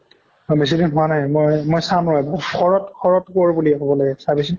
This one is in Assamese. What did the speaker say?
অ বেছি দিন হোৱা নাই মই মই চাম ৰʼ শৰৎ শৰৎ কোৱৰ বুলি আহিব লাগে চাবি চোন।